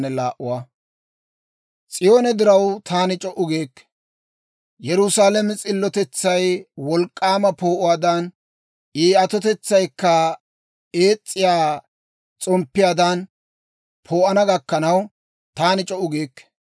S'iyoone diraw, taani c'o"u giikke; Yerusaalame s'illotetsay wolk'k'aama poo'uwaadan, I atotetsaykka ees's'iyaa s'omppiyaadan poo'ana gakkanaw, taani c'o"u giikke.